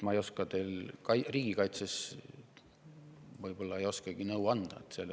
Ma riigikaitse seisukohast ei oskagi teile nõu anda.